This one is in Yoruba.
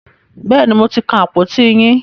Bẹ́ẹ̀ni, mo ti kan àpòtí yín.